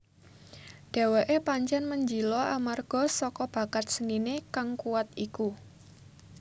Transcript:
Dheweke pancen menjila amarga saka bakat senine kang kuwat iku